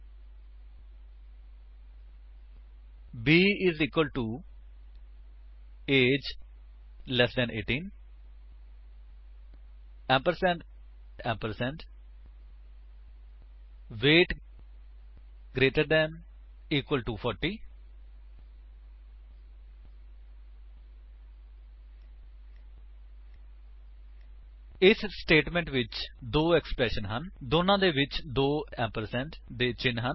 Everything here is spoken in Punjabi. b I S equal to A G E less than 18 ampersand ampersand weight greater than equal to 40 ਇਸ ਸਟੇਟਮੇਂਟ ਵਿੱਚ ਦੋ ਏਕਸਪ੍ਰੇਸ਼ੰਸ ਹਨ ਅਤੇ ਦੋਨਾਂ ਦੇ ਵਿੱਚ ਦੋ ਏੰਪਰਸੇਂਡ ਦੇ ਚਿੰਨ੍ਹ ਹਨ